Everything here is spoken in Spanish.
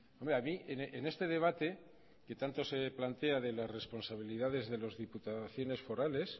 hombre a mí en este debate que tanto se plantea de las responsabilidades de las diputaciones forales